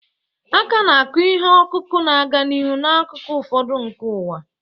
A ka na-akụ ihe ọkụkụ na-aga n'ihu n'akụkụ ụfọdụ nke ụwa.